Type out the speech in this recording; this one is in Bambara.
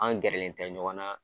An gɛrɛlen tɛ ɲɔgɔn na